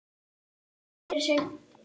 Umdeilt atvik?